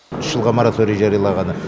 үш жылға мораторий жариялағаны